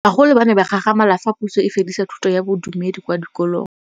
Bagolo ba ne ba gakgamala fa Pusô e fedisa thutô ya Bodumedi kwa dikolong.